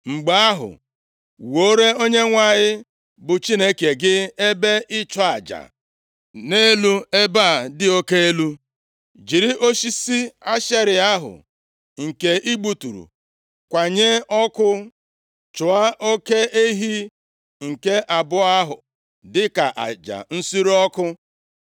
Mgbe ahụ, wuoro Onyenwe anyị bụ Chineke gị ebe ịchụ aja, nʼelu ebe a dị oke elu. Jiri osisi Ashera ahụ nke ị gbuturu kwanye ọkụ, chụọ oke ehi nke abụọ ahụ dịka aja nsure ọkụ.”